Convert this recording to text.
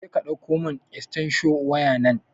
Jeka ɗauko mun estensho waya nan